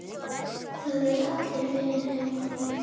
Það eru allir vinir heima.